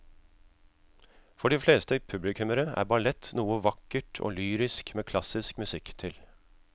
For de fleste publikummere er ballett noe vakkert og lyrisk med klassisk musikk til.